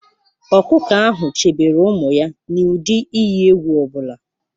Ọkụkọ ahụ chebere ụmụ ya n'ụdị iyi egwu ọ bụla.